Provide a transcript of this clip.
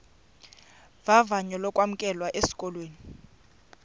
vavanyo lokwamkelwa esikolweni